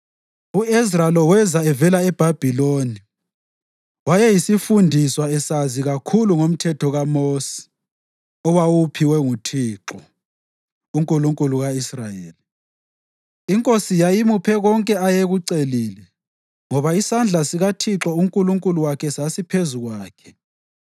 u-Ezra lo weza evela eBhabhiloni. Wayeyisifundiswa esazi kakhulu ngoMthetho kaMosi, owawuphiwe nguThixo, uNkulunkulu ka-Israyeli. Inkosi yayimuphe konke ayekucelile, ngoba isandla sikaThixo uNkulunkulu wakhe sasiphezu kwakhe.